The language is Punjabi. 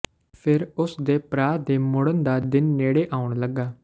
ਫਿਰ ਉਸ ਦੇ ਭਰਾ ਦੇ ਮੁੜਨ ਦਾ ਦਿਨ ਨੇੜੇ ਆਉਣ ਲੱਗਾ